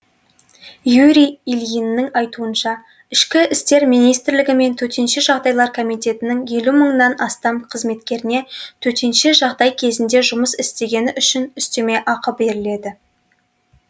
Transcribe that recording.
юрий ильиннің айтуынша ішкі істер министрлігі мен төтенше жағдайлар комитетінің елу мыңнан астам қызметкеріне төтенше жағдай кезінде жұмыс істегені үшін үстеме ақы беріледі